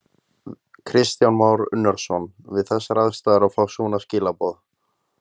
Kristján Már Unnarsson: Við þessar aðstæður að fá svona skilaboð?